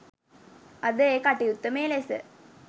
අද ඒ කටයුත්ත මේ ලෙස